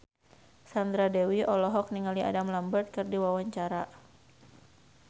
Sandra Dewi olohok ningali Adam Lambert keur diwawancara